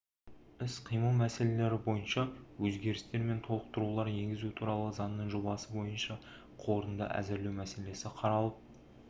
іс-қимыл мәселелері бойынша өзгерістер мен толықтырулар енгізу туралы заңның жобасы бойынша қорытынды әзірлеу мәселесі қаралып